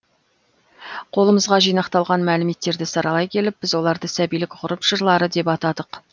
қолымызға жинақталған мәліметтерді саралай келіп біз оларды сәбилік ғұрып жырлары деп атадық